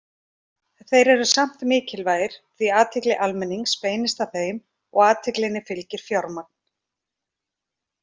Þeir eru samt mikilvægir því athygli almennings beinist að þeim og athyglinni fylgir fjármagn.